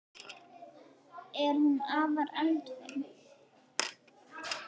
Er hún afar eldfim?